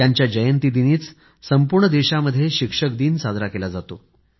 त्यांच्या जयंतीदिनीच संपूर्ण देशामध्ये शिक्षक दिवस साजरा केला जातो